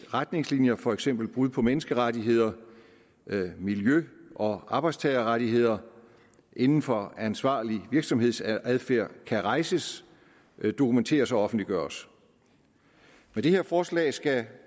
retningslinjer for eksempel brud på menneskerettigheder miljø og arbejdstagerrettigheder inden for ansvarlig virksomhedsadfærd kan rejses dokumenteres og offentliggøres med det her forslag skal